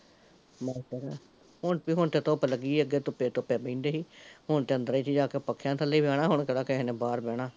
ਬਸ ਫਿਰ, ਹੁਣ ਹੁਣ ਤੇ ਧੁੱਪ ਲੱਗੀ ਐ ਅੱਗੇ ਧੁੱਪੇ ਧੁੱਪੇ ਬਹਿੰਦੇ ਸੀ, ਹੁਣ ਤਾਂ ਅੰਦਰੇ ਚ ਜਾਕੇ ਪੱਖਿਆਂ ਥੱਲੇ ਈ ਬਹਿਣਾ ਹੁਣ ਕਿਹੜਾ ਕਿਸੇ ਨੇ ਬਾਹਰ ਬੇਹਣਾ